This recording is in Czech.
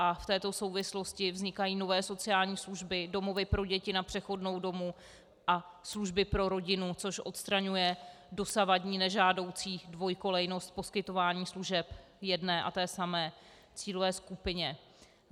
A v této souvislosti vznikají nové sociální služby, domovy pro děti na přechodnou dobu a služby pro rodinu, což odstraňuje dosavadní nežádoucí dvojkolejnost poskytování služeb jedné a té samé cílové skupině.